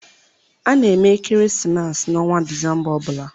A na-eme ekeresimesi n'ọnwa Disemba ọ bụla.